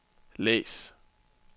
læs